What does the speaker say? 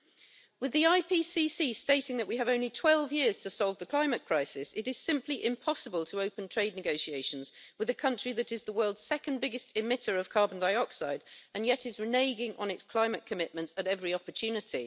With the Intergovernmental Panel on Climate Change stating that we have only 12 years to solve the climate crisis, it is simply impossible to open trade negotiations with a country that is the world's second biggest emitter of carbon dioxide and yet is reneging on its climate commitments at every opportunity.